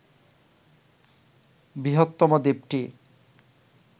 বৃহত্তম দ্বীপটি